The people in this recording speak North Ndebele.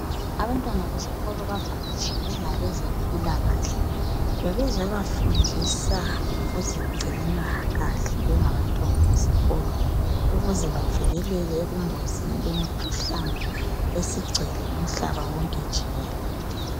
Abantwana besikolo bavakatshelwe ngabezempilakahle ngokuzobafundisa ngokuzigcina kahle njengabantwana besikolo ukuze bavikeleke ebungozini bemikhuhlane esigcwele umhlaba wonke jikelele